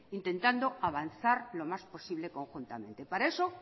intentando avanzar lo más posible conjuntamente para eso